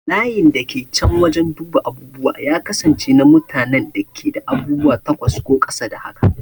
Layin da ke can wajen duba abubuwa ya kasance na mutanen da ke da abubuwa takwas ko ƙasa da haka.